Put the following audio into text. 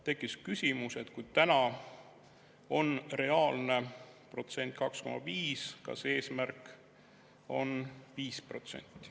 Tekkis küsimus, et kui täna on reaalne protsent 2,5, kas eesmärk on 5%.